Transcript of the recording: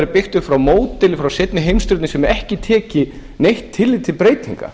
byggt upp frá módeli frá seinni heimsstyrjöldinni sem ekki taki neitt tillit til breytinga